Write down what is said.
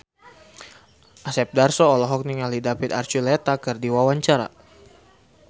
Asep Darso olohok ningali David Archuletta keur diwawancara